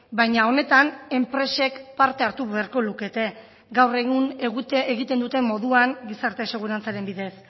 baina honetan enpresek parte hartu beharko lukete gaur egun egiten duten moduan gizarte segurantzaren bidez